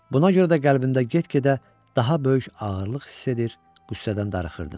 Buna görə də qəlbimdə get-gedə daha böyük ağırlıq hiss edir, qüssədən darıxırdım.